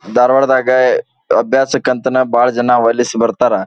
ಧಾರಾವಾಡದಾಗೆ ಅಭ್ಯಾಸಕ್ಕಂತಾನೇ ಬಾಳ ಜನ ಓಲೈಸಿ ಬರ್ತಾರೆ.